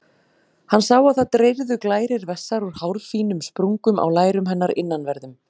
Hann sá að það dreyrðu glærir vessar úr hárfínum sprungum á lærum hennar innanverðum.